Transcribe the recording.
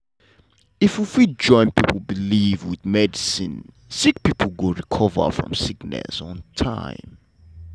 if we fit join pipo belief with medicine sick pesin go recover from sickness on time.